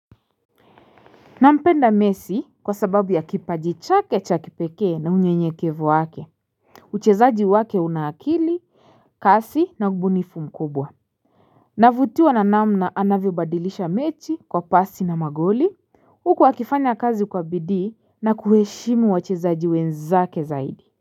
Nampenda mesii kwa sababu ya kipaji chake cha kipekee na unyenyekevu wake, uchezaji wake una akili, kasi na ubunifu mkubwa. Navutiwa na namna anavyobadilisha mechi kwa pasi na magoli, huku akifanya kazi kwa bidii na kuheshimu wachezaji wenzake zaidi.